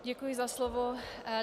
Děkuji za slovo.